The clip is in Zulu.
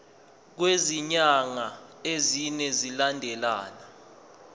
kwezinyanga ezine zilandelana